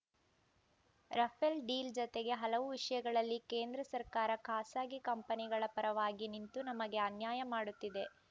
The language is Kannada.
ರಫೇಲ್‌ ಡೀಲ್‌ ಜತೆಗೆ ಹಲವು ವಿಷಯಗಳಲ್ಲಿ ಕೇಂದ್ರ ಸರ್ಕಾರ ಖಾಸಗಿ ಕಂಪನಿಗಳ ಪರವಾಗಿ ನಿಂತು ನಮಗೆ ಅನ್ಯಾಯ ಮಾಡುತ್ತಿದೆ